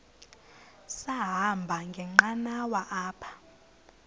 sahamba ngenqanawa apha